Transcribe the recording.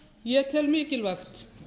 ég tel mikilvægt